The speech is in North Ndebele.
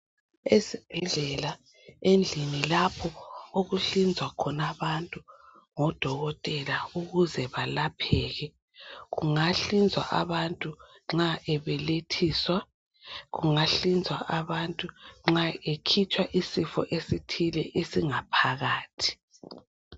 Esibhedlela endlini lapho okuhlinzwa khona abantu , ngodokotela ukuze balapheke , kungahlinzwa abantu nxa ebelethiswa , kungahlinzwa abantu nxa ekhitshwa isifo esithile esingaphakathi